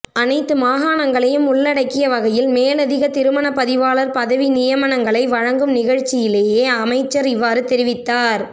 அனைத்து மாகாணங்களையும் உள்ளடக்கிய வகையில் மேலதிக திருமண பதிவாளர் பதவி நியமங்களை வழங்கும் நிகழ்ச்சியிலேயே அமைச்சர் இவ்வாறு தெரிவித்தார்